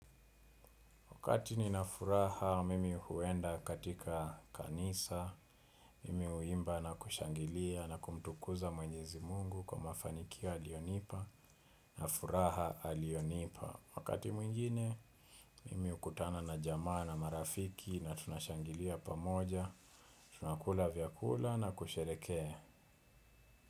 Wakati nina furaha mimi huenda katika kanisa, mimi huimba na kushangilia na kumtukuza mwenyezi mungu kwa mafanikio aliyonipa na furaha aliyonipa. Wakati mwingine, mimi hukutana na jamaa na marafiki na tunashangilia pamoja, tunakula vyakula na kusherehekea.